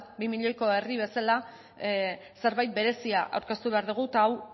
bi milioiko herria bezala zerbait berezia aurkeztu behar dugu eta hau